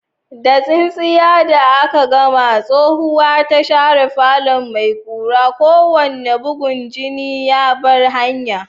Da tsintsiya da aka gama, tsohuwa ta share falon mai ƙura, kowane bugun jini ya bar hanya.